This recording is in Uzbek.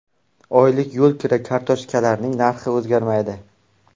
Oylik yo‘lkira kartochkalarining narxi o‘zgarmaydi.